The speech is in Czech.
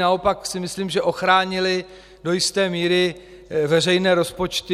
Naopak si myslím, že ochránily do jisté míry veřejné rozpočty.